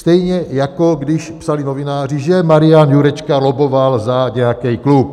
Stejně jako když psali novináři, že Marian Jurečka lobboval za kdejaký klub.